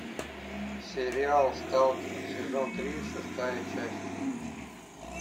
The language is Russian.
сериал сталкер сезон три шестая часть